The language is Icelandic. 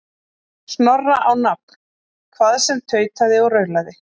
Snorra á nafn, hvað sem tautaði og raulaði.